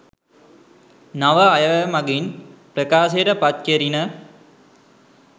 නව අයවැය මගින් ප්‍රකාශයට පත් කෙරිණ.